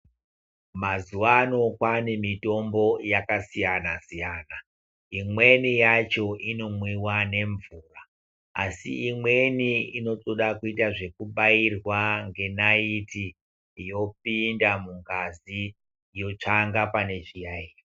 Mazuwaano kwane mitombo yakasiyana siyana imweni yacho inomwiwa nemvura asi imweni inotoda kuita zvekubairwa ngenaiti yopinda mungazi yotanga pane zviyayiyo.